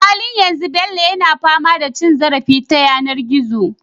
A halin yanzu Bello yana fama da cin zarafi ta yanar gizo